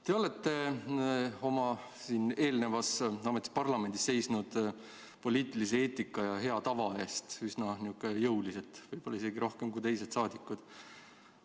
Te olete oma eelnevas ametis parlamendis seisnud poliitilise eetika ja hea tava eest üsna jõuliselt, võib-olla isegi rohkem kui teised saadikud.